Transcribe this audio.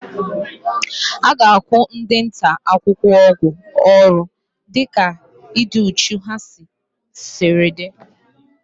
A ga-akwụ ndị nta akụkọ ụgwọ ọrụ dịka ịdị úchú ha siri dị)